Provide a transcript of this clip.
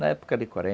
Na época de quaren